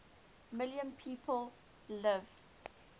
million people live